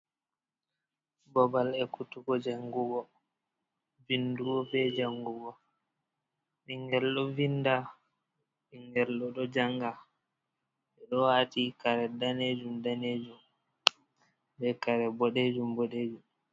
Babal ekkutugo jangugo, vindugo be jangugo ɓingel ɗo vinda, ɓingel ɗo janga, ɓe ɗo waati kare daneejum daneejum be kare boɗeejum boɗeejum.